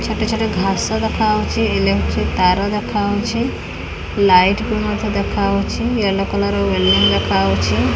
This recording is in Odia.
ଛୋଟ ଛୋଟ ଘାସ ଦେଖା ହଉଚି ଇଲେକ୍ଟ୍ରି ତାର ଦେଖାହଉଛି ଲାଇଟ୍ ବି ମଧ୍ୟ ଦେଖା ହଉଛି ୟଲୋ କଲର ର ବିଲଡିଂ ଦେଖାହଉଛି।